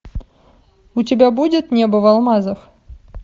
у тебя будет небо в алмазах